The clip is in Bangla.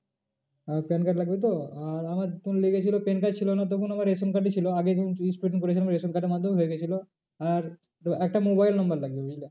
আহ PAN card লাগবে তো আর আমার তখন লেগেছিলো PAN card ছিল না তখন আমার রেশন card ই ছিল আগে যখন করেছিলাম রেশন card এর মাধ্যমেও হয়ে গিয়েছিলো। আর তোর একটা mobile number লাগবে